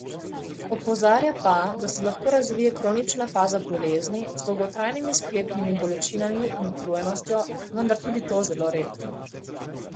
Opozarja pa, da se lahko razvije kronična faza bolezni z dolgotrajnimi sklepnimi bolečinami in utrujenostjo, vendar tudi to zelo redko.